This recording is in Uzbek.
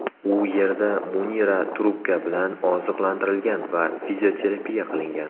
U yerda Munira trubka bilan oziqlantirilgan va fizioterapiya qilingan.